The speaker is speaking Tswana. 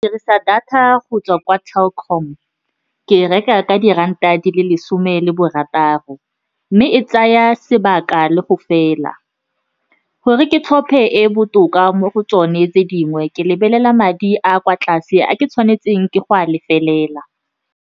Ke dirisa data go tswa kwa Telkom, ke e reka ka diranta di le lesome le barataro, mme e tsaya sebaka le go fela. Gore ke tlhophe e botoka mo go tsone tse dingwe, ke lebelela madi a kwa tlase a ke tshwanetseng ke go a lefelela.